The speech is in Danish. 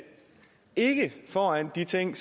ikke foran de ting